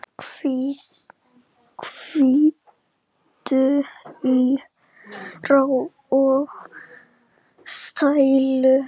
Hvíldu í ró og sælu.